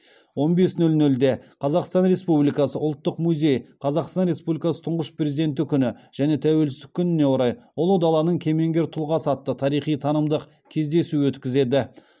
он бес нөл нөлде қазақстан республикасы ұлттық музейі қазақстан республикасы тұңғыш президенті күні және тәуелсіздік күніне орай ұлы даланың кемеңгер тұлғасы атты тарихи танымдық кездесу өткізеді